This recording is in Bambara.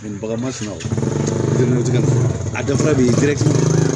Bagan ma sunɔgɔ a dafara b'i